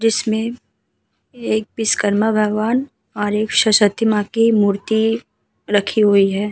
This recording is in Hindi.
जिसमे एक विश्कर्मा भगवान और एक सु शक्ति माँ की मूर्ति रखी हुई है।